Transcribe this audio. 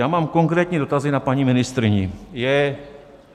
Já mám konkrétní dotazy na paní ministryni.